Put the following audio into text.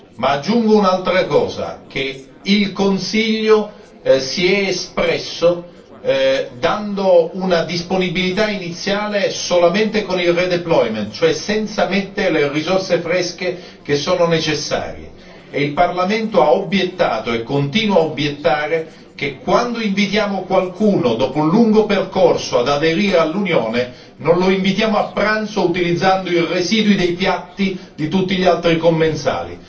Ma aggiungo un'altra cosa, che il Consiglio si è espresso dando una disponibilità iniziale solamente con il redeployment cioè senza mettere le risorse fresche che sono necessarie, e il Parlamento ha obiettato e continua ad obiettare che quando invitiamo qualcuno dopo un lungo percorso ad aderire all'Unione, non lo invitiamo a pranzo utilizzando i residui dei piatti di tutti gli altri commensali.